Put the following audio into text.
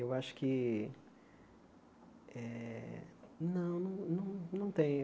Eu acho que eh... Não, não tem.